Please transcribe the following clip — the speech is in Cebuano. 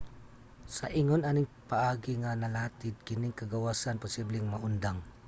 sa ingon aning paagi nga nalatid kining kagawasan posibleng maundang